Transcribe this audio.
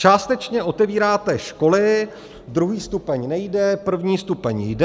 Částečně otevíráte školy, druhý stupeň nejde, první stupeň jde.